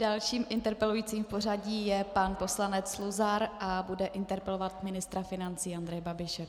Dalším interpelujícím v pořadí je pan poslanec Luzar a bude interpelovat ministra financí Andreje Babiše.